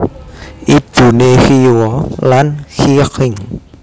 Ibuné Qiyou lan Qixing